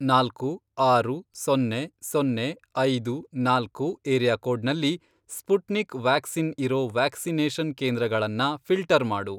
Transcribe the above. ನಾಲ್ಕು, ಆರು, ಸೊನ್ನೆ, ಸೊನ್ನೆ, ಐದು, ನಾಲ್ಕು, ಏರಿಯಾಕೋಡ್ನಲ್ಲಿ, ಸ್ಪುಟ್ನಿಕ್ ವ್ಯಾಕ್ಸಿನ್ ಇರೋ ವ್ಯಾಕ್ಸಿನೇಷನ್ ಕೇಂದ್ರಗಳನ್ನ ಫಿ಼ಲ್ಟರ್ ಮಾಡು.